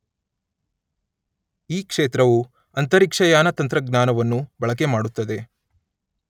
ಈ ಕ್ಷೇತ್ರವು ಅಂತರಿಕ್ಷಯಾನ ತಂತ್ರಜ್ಞಾನವನ್ನು ಬಳಕೆಮಾಡುತ್ತದೆ.